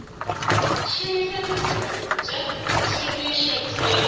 šomiša ditirelo tša tlhwekišo tšeo